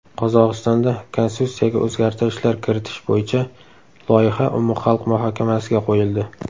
Qozog‘istonda konstitutsiyaga o‘zgartirishlar kiritish bo‘yicha loyiha umumxalq muhokamasiga qo‘yildi.